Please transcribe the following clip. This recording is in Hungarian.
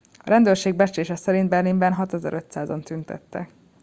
a rendőrség becslése szerint berlinben 6500 an tüntettek